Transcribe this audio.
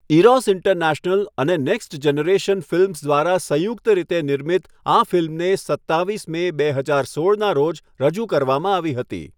Eros International અને Next Generation Films દ્વારા સંયુક્ત રીતે નિર્મિત આ ફિલ્મને સત્તાવીસ મે, બે હજાર સોળના રોજ રજૂ કરવામાં આવી હતી.